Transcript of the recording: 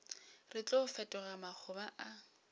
re tlo fetoga makgoba a